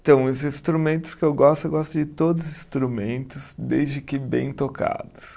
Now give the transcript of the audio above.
Então, os instrumentos que eu gosto, eu gosto de todos os instrumentos, desde que bem tocados.